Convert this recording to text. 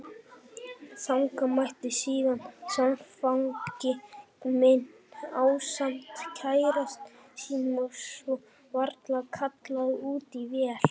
Þangað mætti síðan samfangi minn ásamt kærasta sínum og svo var kallað út í vél.